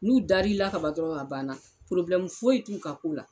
N'u dali la ka ban dɔrɔn a banna foyi t'u ka ko la.